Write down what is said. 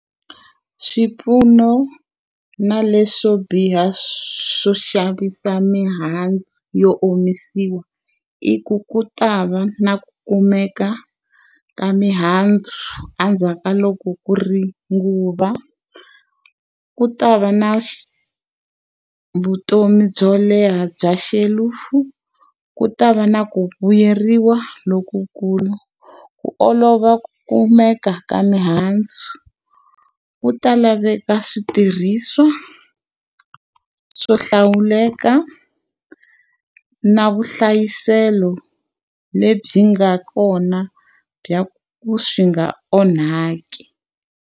Swipfuno na leswo biha swo xavisa mihandzu yo omisiwa i ku ku ta va na ku kumeka ka mihandzu endzhaku ka loko ku ri nguva. Ku ta va na vutomi byo leha bya xelufu, ku ta va na ku vuyeriwa lokukulu. Ku olova ku kumeka ka mihandzu. Ku ta laveka switirhisiwa swo hlawuleka na vuhlayiselo lebyi nga kona bya ku swi nga onhaki.